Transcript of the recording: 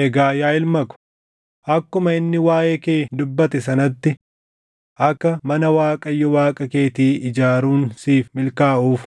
“Egaa yaa ilma ko, akkuma inni waaʼee kee dubbate sanatti akka mana Waaqayyo Waaqa keetii ijaaruun siif milkaaʼuuf